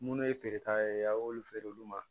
Munnu ye feereta ye aw y'olu feere olu ma